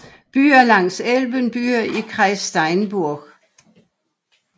Byer langs Elben Byer i Kreis Steinburg